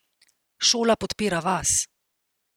Šola podpira vas.